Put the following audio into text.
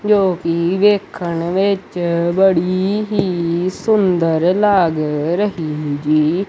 ਜੋ ਕੀ ਵੇਖਣ ਵਿੱਚ ਬੜੀ ਹੀ ਸੁੰਦਰ ਲੱਗ ਰਹੀ ਜੀ।